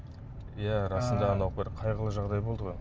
иә расында анау бір қайғылы жағдай болды ғой